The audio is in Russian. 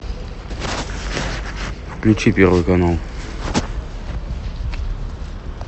включи первый канал